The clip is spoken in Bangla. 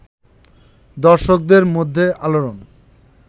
দর্শকদের মধ্যে আলোড়ন